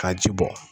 Ka ji bɔ